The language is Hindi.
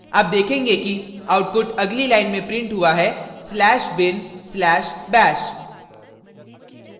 आप देखेंगे कि output अगली line में printed हुआ है slash bin slash bash